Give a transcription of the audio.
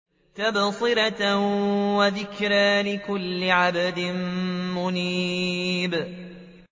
تَبْصِرَةً وَذِكْرَىٰ لِكُلِّ عَبْدٍ مُّنِيبٍ